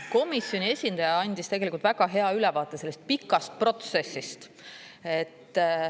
Komisjoni esindaja andis tegelikult väga hea ülevaate sellest pikast protsessist.